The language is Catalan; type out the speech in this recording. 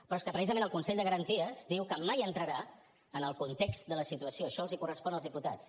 però és que precisament el consell de garanties diu que mai entrarà en el context de la situació això els correspon als diputats